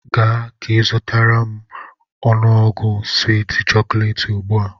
Gaa ka izụtara m u ngwugwu swiiti chokolééti ugbu a!